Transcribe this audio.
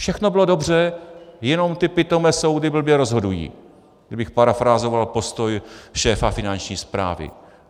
Všechno bylo dobře, jenom ty pitomé soudy blbě rozhodují, abych parafrázoval postoj šéfa Finanční správy.